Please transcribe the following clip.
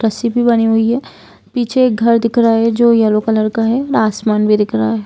रस्सी भी बंधी हुई है पीछे एक घर भी दिख रहा है जो येलो कलर का है आसमान भी दिख रहा है ।